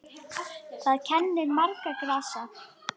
Þar kennir margra grasa.